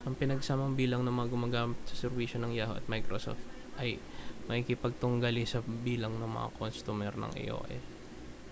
ang pinagsamang bilang ng mga gumagamit sa serbisyo ng yahoo at microsoft ay makikipagtunggali sa bilang ng mga kostumer ng aol